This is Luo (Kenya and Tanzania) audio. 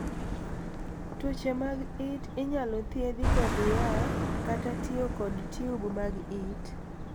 Tuoche mag it inyalo thiedhi kod yath kata tiyo kod tiub mag it.